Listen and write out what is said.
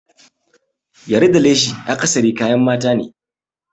Yari da leshi akasari kayan mata ne.